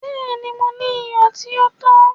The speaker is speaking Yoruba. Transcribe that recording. Bẹ́ẹ̀ni, Mò ní iyọ̀ tí o tó.